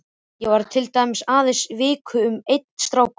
Ég var til dæmis aðeins í viku með einum stráknum.